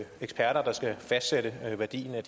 særlig